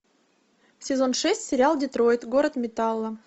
сезон шесть сериал детройт город металла